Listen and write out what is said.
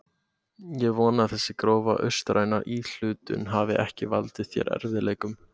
Ég vona að þessi grófa austræna íhlutun hafi ekki valdið þér erfiðleikum.